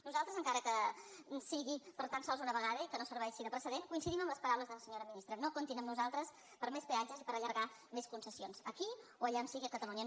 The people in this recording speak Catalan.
nosaltres encara que sigui per tan sols una vegada i que no ser·veixi de precedent coincidim amb les paraules de la senyora ministra no comptin amb nosaltres per a més peatges ni per allargar més concessions aquí o allà on sigui a catalunya